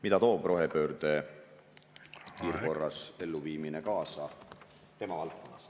… mida toob rohepöörde hurraa korras elluviimine kaasa tema valdkonnas.